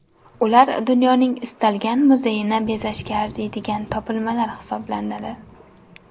Ular dunyoning istalgan muzeyini bezashga arziydigan topilmalar hisoblanadi.